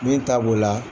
Min ta b'o la